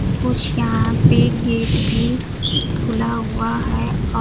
कुछ यहां पे गेट भी खुला हुआ है औ--